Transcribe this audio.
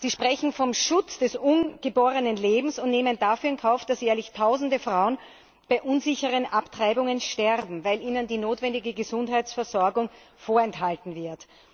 Sie sprechen vom Schutz des ungeborenen Lebens und nehmen dafür in Kauf, dass jährlich Tausende Frauen bei unsicheren Abtreibungen sterben, weil ihnen die notwendige Gesundheitsversorgung vorenthalten wird.